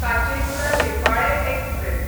Kacheguda Repalle express